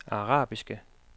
arabiske